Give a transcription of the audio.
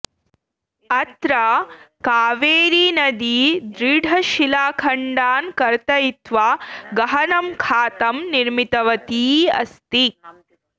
अत्र कावेरी नदी दृढशिलाखण्डान् कर्तयित्वा गहनं खातं निर्मितवती अस्ति